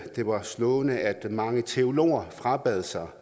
det var slående at mange teologer frabad sig